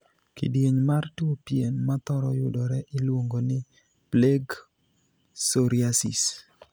Kidieny mar tuo pien mathoro yudore iluongo ni 'plaque psoriasis'.